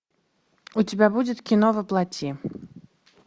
у тебя будет кино воплоти